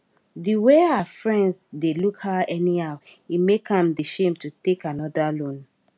de way her friends dey look her anyhow e make am dey shame to take another loan